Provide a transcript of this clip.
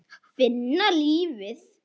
Finna lífið.